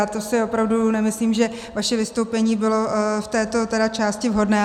A to si opravdu nemyslím, že vaše vystoupení bylo v této tedy části vhodné.